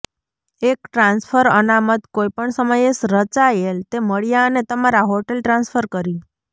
એક ટ્રાન્સફર અનામત કોઈપણ સમયે રચાયેલ તે મળ્યા અને તમારા હોટેલ ટ્રાન્સફર કરી